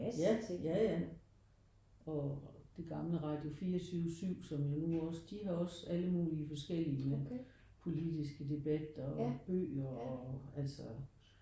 Ja. Ja ja og det gamle Radio 4 7 7 som jo nu også de har også alle mulige forskellige politiske debatter og bøger og altså